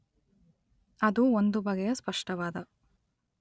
ಅದು ಒಂದು ಬಗೆಯ ಸ್ಪಷ್ಟವಾದ